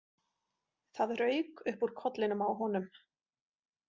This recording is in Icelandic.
Það rauk upp úr kollinum á honum.